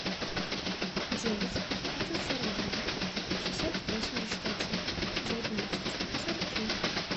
девять пятьсот сорок два шестьсот восемьдесят один девятнадцать сорок три